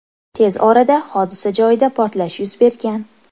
Tez orada hodisa joyida portlash yuz bergan.